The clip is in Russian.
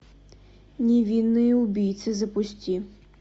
невинные убийцы запусти